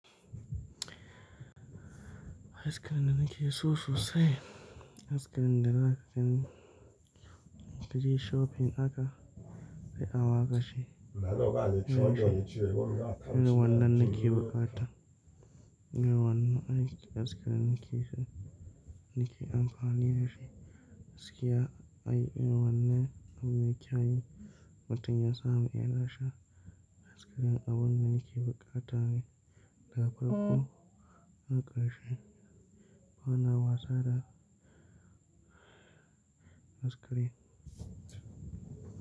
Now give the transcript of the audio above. Ice cream da nake so sosai, ice cream da zaka je shopping Irrin wannan nake bukata. Irrin wannan ice cream nake so, nake amfani da shi. Gaskiya ai irin wannan me kyau Mutum ya samu yana sha ice cream abun nake bukata ne da farko da karshe. Bana wasa da ice cream.